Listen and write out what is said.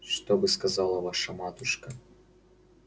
что бы сказала ваша матушка